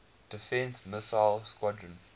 defense missile squadron